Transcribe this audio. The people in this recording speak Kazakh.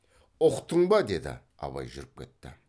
ұқтың ба деді абай жүріп кетті